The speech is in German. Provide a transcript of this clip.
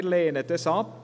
Wir lehnen dies ab.